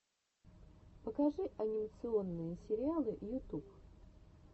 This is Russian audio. покажи анимационные сериалы ютуб